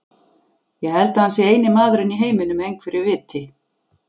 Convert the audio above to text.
Ég held að hann sé eini maðurinn í heiminum með einhverju viti.